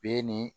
Be nin